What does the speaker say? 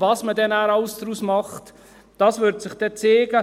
Was man alles daraus macht, wird sich dann zeigen.